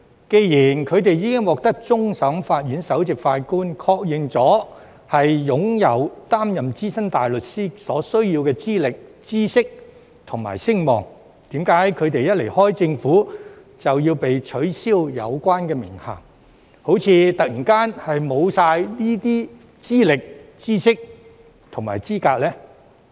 既然他們已獲終審法院首席法官確認擁有擔任資深大律師所需要的資歷、知識和聲望，為何他們一旦離開政府便要被取消有關名銜，就像這些資歷、知識和資格突然全沒了呢？